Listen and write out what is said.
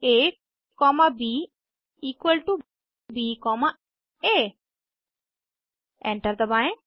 आ comma ब equal to ब comma आ एंटर दबाएं